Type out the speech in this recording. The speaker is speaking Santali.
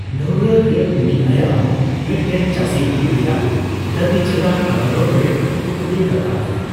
ᱰᱷᱟᱹᱣᱨᱟᱹᱜ ᱨᱮ ᱩᱱᱤ ᱟᱭᱟᱜ ᱦᱚᱸ ᱢᱤᱴᱴᱮᱱ ᱪᱟᱹᱥᱤ ᱦᱩᱭᱩᱜ ᱨᱮᱭᱟᱜ ᱫᱟᱹᱵᱤ ᱪᱮᱛᱟᱱ ᱟᱫᱟᱞᱚᱛ ᱨᱮ ᱠᱩᱠᱞᱤᱭ ᱨᱟᱠᱟᱯ ᱞᱮᱱᱟ ᱾